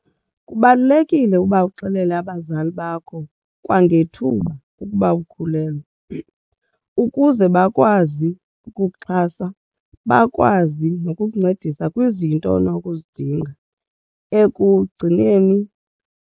Kubalulekile ukuba uxelele abazali bakho kwangethuba ukuba ukhulelwe ukuze bakwazi ukukuxhasa bakwazi nokukuncedisa kwizinto onokuzidinga ekugcineni.